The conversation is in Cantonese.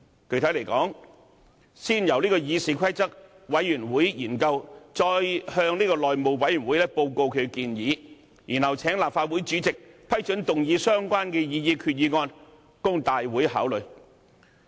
具體而言，先由議事規則委員會研究，再向內務委員會報告其建議，之後請立法會主席批准動議相關的擬議決議案，供大會考慮。